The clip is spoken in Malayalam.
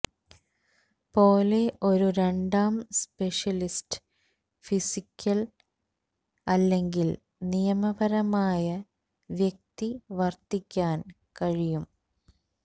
പോലെ ഒരു രണ്ടാം സ്പെഷ്യലിസ്റ്റ് ഫിസിക്കൽ അല്ലെങ്കിൽ നിയമപരമായ വ്യക്തി വർത്തിക്കാൻ കഴിയും